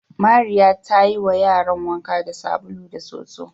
Mariya ta yiwa yaran wanka da sabulu da soso.